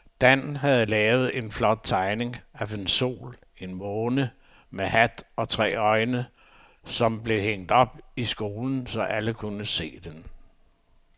Dan havde lavet en flot tegning af en sol og en måne med hat og tre øjne, som blev hængt op i skolen, så alle kunne se den.